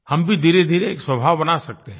हम भी धीरेधीरे एक स्वभाव बना सकते हैं